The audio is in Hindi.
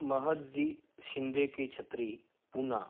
महद जी शिंदे के छत्री पूना --